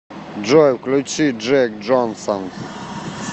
джой включи джек джонсон